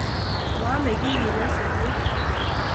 Momeke kiy kiy nyasutiet